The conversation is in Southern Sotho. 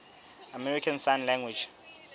american sign language